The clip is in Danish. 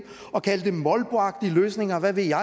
og kalde det molboagtige løsninger og hvad ved jeg